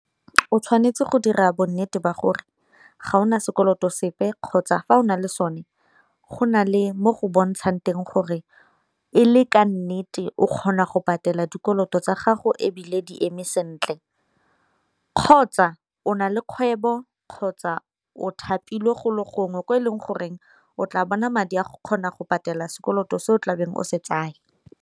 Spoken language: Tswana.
O tshwanetse go dira bonnete ba gore ga ona sekoloto sepe kgotsa fa o na le sone go na le mo go bontshang teng gore e le ka nnete o kgona go patela dikoloto tsa gago, ebile di eme sentle kgotsa o na le kgwebo kgotsa o thapilwe go le gongwe ko e leng goreng o tla bona madi a go kgona go patela sekoloto se o tlabeng o se tsaya.